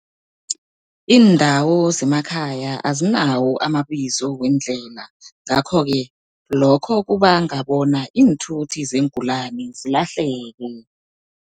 Iindawo zemakhaya azinawo amabizo weendlela, ngakho-ke lokho kubanga bona iinthuthi zeengulani zilahleke.